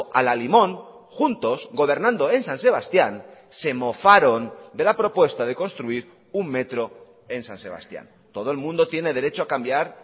a la limón juntos gobernando en san sebastián se mofaron de la propuesta de construir un metro en san sebastián todo el mundo tiene derecho a cambiar